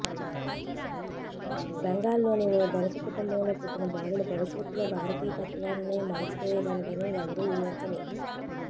బెంగాల్లోని ఓ ధనిక కుటుంబంలో పుట్టిన బాలుడు భవిష్యత్తులో భారతీయ తత్వాన్నే మార్చేయగలడని ఎవరూ ఊహించలేదు